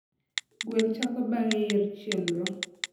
Gwel chako bang'e yier chenro